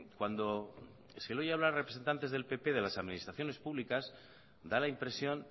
cuando se oye hablar a representantes del pp de las administraciones públicas da la impresión